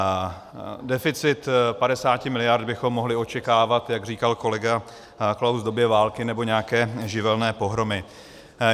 Deficit 50 mld. bychom mohli očekávat, jak říkal kolega Klaus, v době války nebo nějaké živelní pohromy.